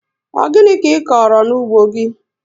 Ọ gịnị ka ịkọrọ n'ugbo gị